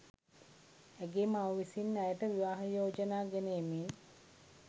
ඇගේ මව විසින් ඇයට විවාහ යෝජනා ගෙන එමින්